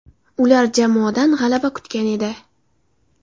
Ular jamoadan g‘alaba kutgan edi.